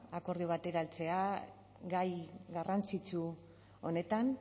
akordio batera heltzea gai garrantzitsu honetan